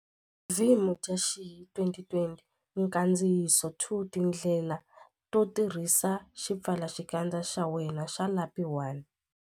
V Mudyaxihi 2020 Nkandziyiso 2 Tindlela to tirhisa xipfalaxikandza xa wena xa lapi 1.